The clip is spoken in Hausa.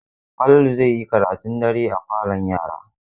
Falalu zai yi karatun dare a falon yara.